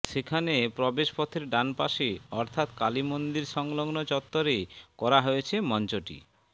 সেখানে প্রবেশ পথের ডানপাশে অর্থাৎ কালি মন্দির সংলগ্ন চত্বরে করা হয়েছে মঞ্চটি